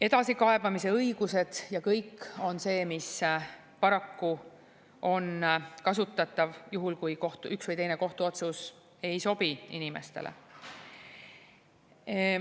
Edasikaebamise õigus ja kõik see on paraku kasutatav juhul, kui üks või teine kohtuotsus ei sobi inimestele.